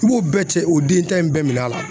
I b'o bɛɛ cɛ o den ta in bɛɛ minɛn a la.